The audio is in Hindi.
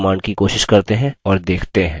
इस command की कोशिश करते हैं और देखते हैं